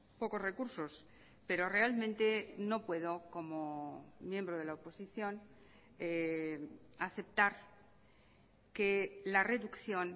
pocos recursos pero realmente no puedo como miembro de la oposición aceptar que la reducción